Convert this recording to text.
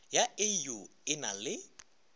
ya au e na le